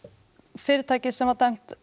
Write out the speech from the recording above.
fyrirtækið sem var dæmt